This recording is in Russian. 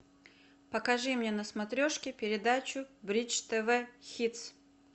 покажи мне на смотрешке передачу бридж тв хитс